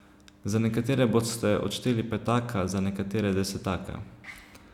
Za nekatere boste odšteli petaka, za nekatere desetaka.